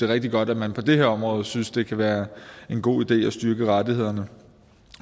rigtig godt at man på det her område synes at det kan være en god idé at styrke rettighederne